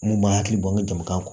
Mun ma hakili bɔ n ka jamakan kɔnɔ